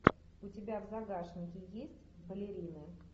у тебя в загашнике есть балерины